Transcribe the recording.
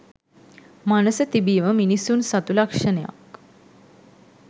මනස තිබීම මිනිසුන් සතු ලක්‍ෂණයක්.